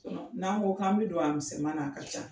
n'an ko k'an bɛ don a misɛn na a ka ca.